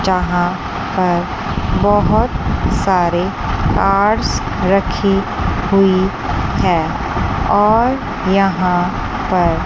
यहां पर बहुत सारे कार्स रखी हुई हैं और यहां पर--